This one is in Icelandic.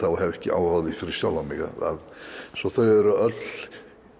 hef ekki áhuga á því fyrir sjálfan mig svo þau eru öll